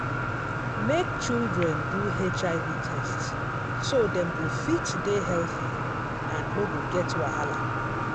make children do hiv test so dem go fit dey healthy and no get wahala.